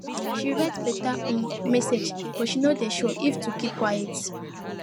she write better um message but she no dey sure if to just keep quiet